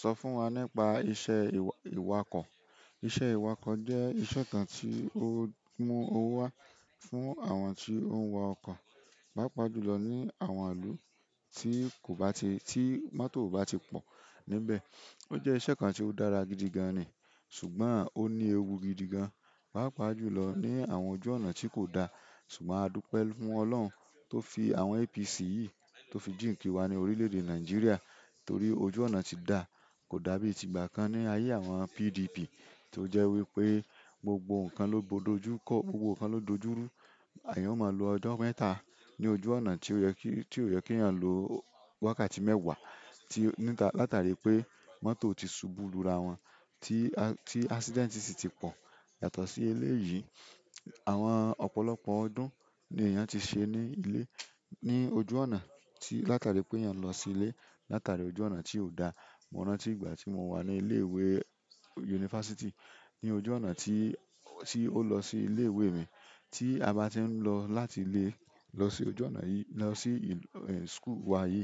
Sọ fún wa nípa iṣẹ́ ìwakọ̀. Iṣẹ́ ìwakọ̀ jẹ́ iṣẹ́ kan tí ó mú owó wá fún àwọn tí ó ń wa ọkọ̀, pàápàá jùlọ ní àwọn ìlú tí kò bá ti-- tí mọ́tò ò bá ti pọ̀ níbẹ̀. Ó jẹ́ iṣẹ́ kan tí ó dára gidi gan ni, ṣùgbọ́n ó ní ewu gidi gan, pàápàá jùlọ ní àwọn ojú ọ̀nà tí kò dá. Sugbo adupe fún oloun to fi àwọn APC yìí to fi jinki wa ni orile èdè Nigeria torí ojú ọ̀nà ti da kódà bi ti ìgbà kan ni aye àwọn PDP to je wípé gbogbo nkan lo do ju ko, gbogbo nkan lo dojuru. Eyàn máa lo ọjọ́ mẹ́ta ní ojú ọ̀nà tí ó yẹ kí, tí ó yẹ kí èèyàn lo wákàtí mẹ́wàá, tí ó-- níta-- látàrí pé mọ́tò ti ṣubú lura wọn, tí, tí accident sì ti pọ̀. Yàtọ̀ sí eléyìí, àwọn ọ̀pọ̀lọpọ̀ ọdún ni èèyàn ti ṣe ní ilé, ní ojú ọ̀nà tí látàrí pé èèyàn lọ sí ilé, látàrí ojú ọ̀nà tí ò da. Mo rántí ìgbà ti mo wa ni ike ìwé university, ni ojú ọ̀nà ti o lo si ile ìwé mi tí a bá ti ń lọ láti ilé lọ sí ojú ọ̀nà yí, lọ sí, ehn, school wa yìí,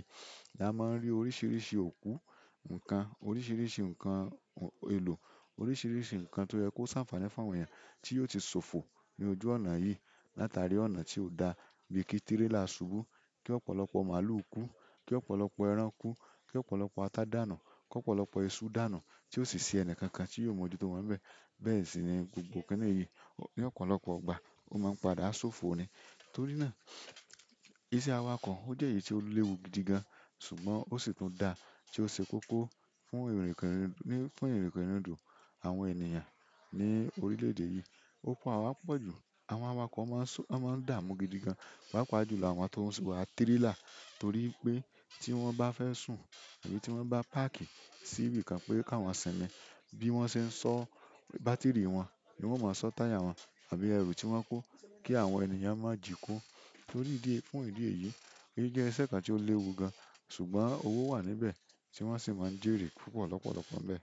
a máa ń rí oríṣìíríṣìí òkú nǹkan, oríṣìíríṣìí nǹkan èlò, oríṣìíríṣìí nǹkan tó yẹ kó ṣàǹfààní fún àwọn èèyàn tí yóò ti sòfò ní ojú ọ̀nà yìí látàrí ọ̀nà tí ò da. Bíi kí tírélà ṣubú kí ọ̀pọ̀lọpọ̀ màálù kú, kí ọ̀pọ̀lọpọ̀ ẹran kú, kí ọ̀pọ̀lọpọ̀ ata dànù, kí ọ̀pọ̀lọpọ̀ iṣu dànù tí ó sì ṣe ẹnìkankan tí yóò mọjú tó wọ́n nbe. Bẹ́ẹ̀ sì ni gbogbo kini yi. Ni ọ̀pọ̀lọpọ̀ ìgbà ó máa ń padà sófo ni. Torí náà iṣẹ́ awakọ̀ ó jẹ́ èyí tí ó léwu gidi gan, ṣùgbọ́n ó sì tún dá tí ó ṣe kóko fún ìrìnkèrindo, fún ìrìnkèrindò àwọn ènìyàn ní orílẹ̀ èdè yìí. Ó pa a wa po jù. Àwọn awakọ̀ máa ń ṣú, wọ́n máa ń dààmú gidi gan, pàápàá jùlọ àwọn tó ń wa tírélà torí pé tí wọ́n bá fẹ́ sùn àbí tí wọ́n bá páàkì sí ibi kan pé kí awọ́n simi bí wọ́n ṣe ń ṣọ bátìrì wọn ní wọ́n máa ṣọ táyà wọn àbí èru tí wọ́n kó kí àwọn ènìyàn má jiko torí ìdí, fún ìdí èyí. Èyí jẹ́ iṣẹ́ kan tí ó léwu gan ṣùgbọ́n owó wà níbẹ̀ tí wọ́n sì máa ń jèrè púpọ̀ lọ́pọ̀lọpọ̀ níbẹ̀.